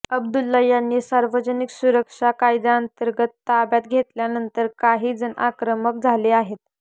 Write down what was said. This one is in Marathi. अब्दुल्ला यांना सार्वजनिक सुरक्षा कायद्यातंर्गत ताब्यात घेतल्यानंतर काही जण आक्रमक झाले आहेत